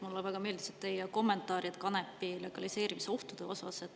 Mulle väga meeldisid teie kommentaarid kanepi legaliseerimise ohtude kohta.